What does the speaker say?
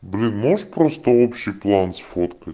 блин можешь просто общий план сфоткать